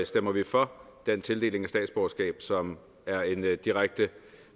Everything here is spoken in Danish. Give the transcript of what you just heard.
stemmer vi for den tildeling af statsborgerskab som er et direkte